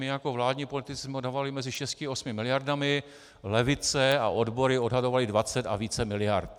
My jako vládní politici jsme odhadovali mezi 6 až 8 miliardami, levice a odbory odhadovaly 20 a více miliard.